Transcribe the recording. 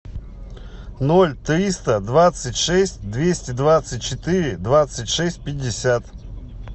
ноль триста двадцать шесть двести двадцать четыре двадцать шесть пятьдесят